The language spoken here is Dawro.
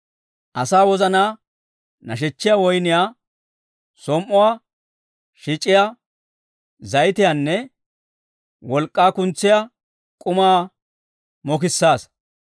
Asaa wozanaa nashechchiyaa woyniyaa, som"uwaa shic'issiyaa zayitiyaanne wolk'k'aa kuntsiyaa k'umaa mokissaassa.